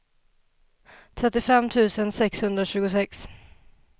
trettiofem tusen sexhundratjugosex